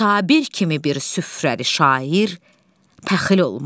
Sabir kimi bir süfrəli şair pəxil olmaz.